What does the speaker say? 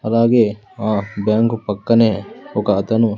అలాగే ఆ బ్యాంకు పక్కనే ఒక అతను --